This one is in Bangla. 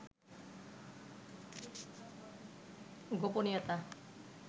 গোপনীয়তা